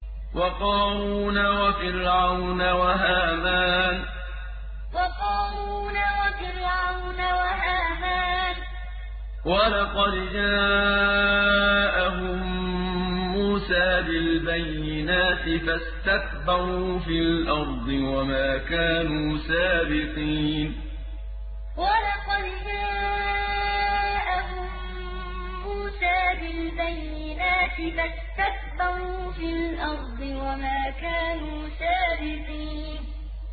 وَقَارُونَ وَفِرْعَوْنَ وَهَامَانَ ۖ وَلَقَدْ جَاءَهُم مُّوسَىٰ بِالْبَيِّنَاتِ فَاسْتَكْبَرُوا فِي الْأَرْضِ وَمَا كَانُوا سَابِقِينَ وَقَارُونَ وَفِرْعَوْنَ وَهَامَانَ ۖ وَلَقَدْ جَاءَهُم مُّوسَىٰ بِالْبَيِّنَاتِ فَاسْتَكْبَرُوا فِي الْأَرْضِ وَمَا كَانُوا سَابِقِينَ